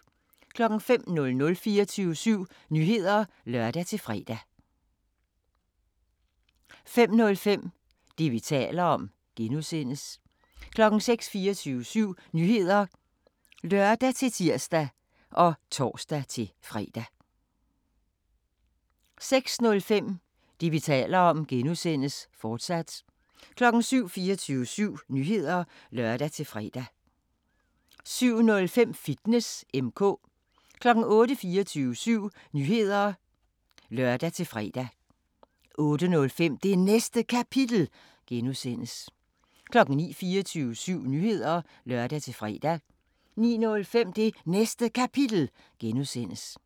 05:00: 24syv Nyheder (lør-fre) 05:05: Det, vi taler om (G) 06:00: 24syv Nyheder (lør-tir og tor-fre) 06:05: Det, vi taler om (G), fortsat 07:00: 24syv Nyheder (lør-fre) 07:05: Fitness M/K 08:00: 24syv Nyheder (lør-fre) 08:05: Det Næste Kapitel (G) 09:00: 24syv Nyheder (lør-fre) 09:05: Det Næste Kapitel (G)